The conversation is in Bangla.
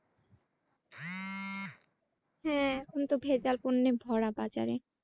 হ্যাঁ এখন তো ভেজাল পন্যে ভরা বাজারে।